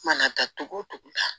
Mana taa togo togo la